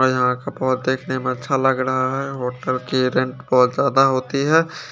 और यहां का बहुत देखने में बहुत अच्छा लग रहा है होटल की रेंट बहुत ज्यादा होती है।